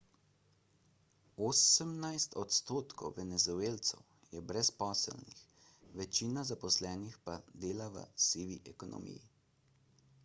osemnajst odstotkov venezuelcev je brezposelnih večina zaposlenih pa dela v sivi ekonomiji